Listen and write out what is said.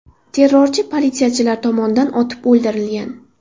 Terrorchi politsiyachilar tomonidan otib o‘ldirilgan.